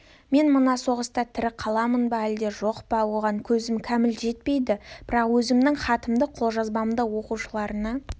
мен мына соғыста тірі қаламын ба әлде жоқ па оған көзім кәміл жетпейді бірақ өзімнің хатымда қолжазбамның оқушыларына